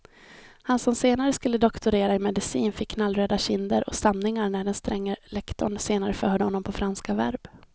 Han som senare skulle doktorera i medicin fick knallröda kinder och stamningar när den stränge lektorn senare förhörde honom på franska verb.